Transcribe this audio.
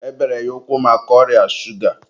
e bere ya ụkwụ maka ọrịa shuga